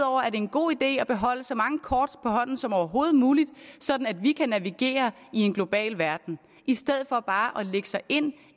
er det en god idé at beholde så mange kort på hånden som overhovedet muligt sådan at vi kan navigere i en global verden i stedet for bare at lægge sig ind